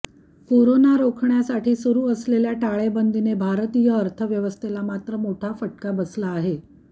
corona रोखण्यासाठी सुरु असलेल्या टाळेबंदीने भारतीय अर्थव्यवस्थेला मात्र मोठा फटका बसला आहे